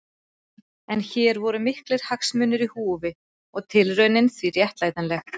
En hér voru miklir hagsmunir í húfi og tilraunin því réttlætanleg.